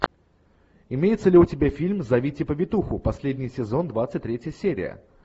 имеется ли у тебя фильм зовите повитуху последний сезон двадцать третья серия